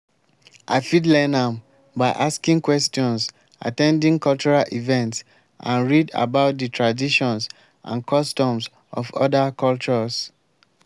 i fit learn am by asking questions at ten ding cultural events and read about di traditions and customs of oda cultures.